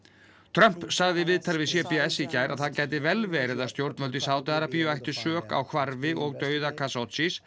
Trump sagði í viðtali við c b s í gær að það gæti vel verið að stjórnvöld í Sádi Arabíu ættu sök á hvarfi og dauða